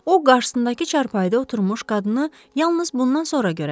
O, qarşısındakı çarpayıda oturmuş qadını yalnız bundan sonra görə bildi.